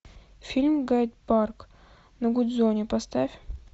фильм гайд парк на гудзоне поставь